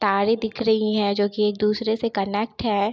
तारे दिख रहीं है जो कि एक दूसरे से कनेक्ट है।